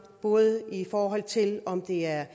både i forhold til om det er